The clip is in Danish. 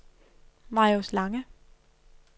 Marius Lange